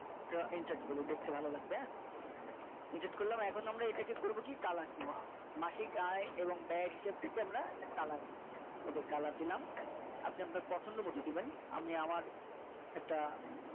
একটা Entered করলে দেখতে ভালো লাগবে Entered করলাম এখন আমরা এটাকে করবো কে Colour দেব মাসিক আয় এবং ব্যয়ের হিসাব থেকে আমরা একটা Colour নেব ok Colour দিলাম আপনি আপনার পছন্দ মত দিবেন আমি আমার একটা